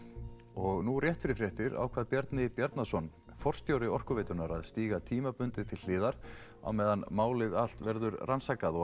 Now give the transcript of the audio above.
og nú rétt fyrir fréttir ákvað Bjarni Bjarnason forstjóri Orkuveitunnar að stíga tímabundið til hliðar á meðan málið allt verður rannsakað og